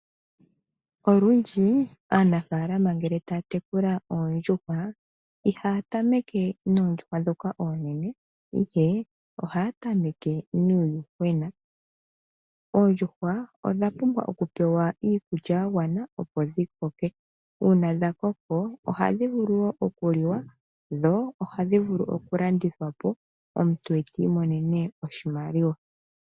Olundji aanafaalama ngele taya tekula oondjuhwa, ihaya tameke noondjuhwa ndhoka oonene, ihe ohaya tameke nuuyuhwena. Oondjuhwa odha pumbwa okupewa Iikulya ya gwana opo dhi koke. Ngele dha koko, ohadhi vulu wo okuliwa. Dho ohadhi vulu landithwa po omuntu eti imonene oshimaliwa.